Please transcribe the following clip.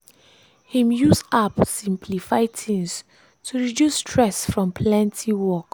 him use app simplify things to reduce stress from plenty work.